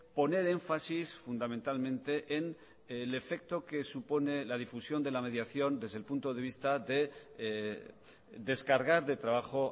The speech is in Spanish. poner énfasis fundamentalmente en el efecto que supone la difusión de la mediación desde el punto de vista de descargar de trabajo